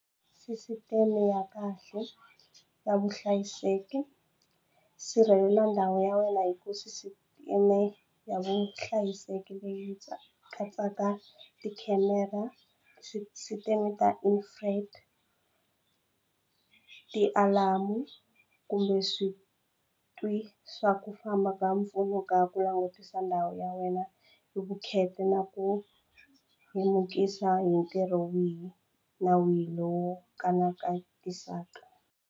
Sisiteme ya kahle ya vuhlayiseki sirhelela ndhawu ya wena hi ku sisiteme ya vuhlayiseki leyi katsaka tikhamera, sisiteme ta , tialamu kumbe switwi swa ku famba ka mpfuno ka ku langutisa ndhawu ya wena hi vukheta na ku lemukisa hi ntirho wihi na wihi lowo .